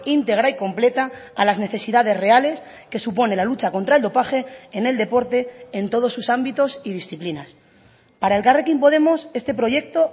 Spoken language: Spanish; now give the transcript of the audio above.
íntegra y completa a las necesidades reales que supone la lucha contra el dopaje en el deporte en todos sus ámbitos y disciplinas para elkarrekin podemos este proyecto